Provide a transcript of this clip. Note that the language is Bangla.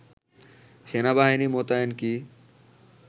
সেনাবাহিনী মোতায়েন কি